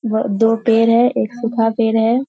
व दो पेड़ है एक सुखा पेड़ है।